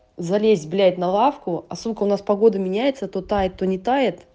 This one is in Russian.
залезть блять на лавку а сука у нас погода меняется то тает то не тает